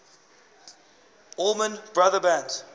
allman brothers band